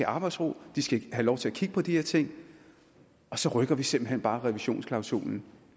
arbejdsro og det skal have lov til at kigge på de her ting og så rykker vi simpelt hen bare revisionsklausulen